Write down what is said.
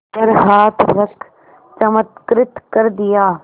पर हाथ रख चमत्कृत कर दिया